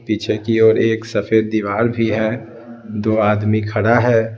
पीछे की ओर एक सफेद दीवार भी है दो आदमी खड़ा है।